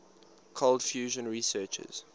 cold fusion researchers